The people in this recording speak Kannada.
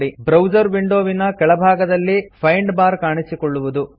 ಬ್ರೌಸರ್ ವಿಂಡೋ ವಿನ ಕೆಳಭಾಗದಲ್ಲಿFind ಬಾರ್ ಕಾಣಿಸಿಕೊಳ್ಳುವುದು